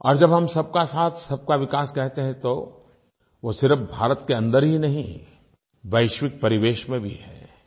और जब हम सबका साथसबका विकास कहते हैं तो वो सिर्फ़ भारत के अन्दर ही नहीं वैश्विक परिवेश में भी है